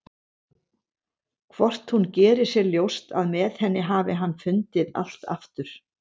Hvort hún geri sér ljóst að með henni hafi hann fundið allt aftur?